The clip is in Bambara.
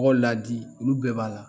Tɔw ladi olu bɛɛ b'a la